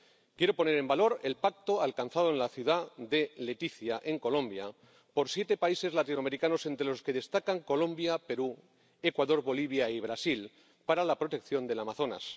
Quiero poner en valor el pacto alcanzado en la ciudad de Leticia, en Colombia, por siete países latinoamericanos, entre los que destacan Colombia, Perú, Ecuador, Bolivia y Brasil, para la protección del Amazonas.